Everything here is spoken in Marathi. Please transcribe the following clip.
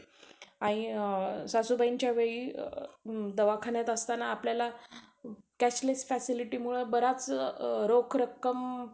आणि सासूबाईंच्या वेळी दवाखान्यात असताना आपल्याला facility मुळं बराच रोख रक्कम